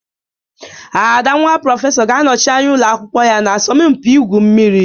Ada, nwa prọfesọ ga-anọchi anya ụlọ akwụkwọ ya na asọmpi igwu mmiri